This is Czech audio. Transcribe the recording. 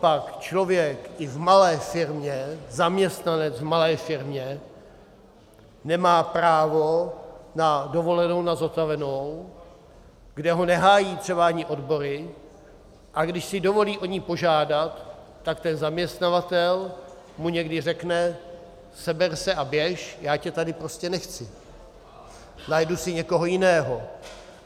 Copak člověk i v malé firmě, zaměstnanec v malé firmě nemá právo na dovolenou na zotavenou, kde ho nehájí třeba ani odbory, a když si dovolí o ni požádat, tak ten zaměstnavatel mu někdy řekne: Seber se a běž, já tě tady prostě nechci, najdu si někoho jiného.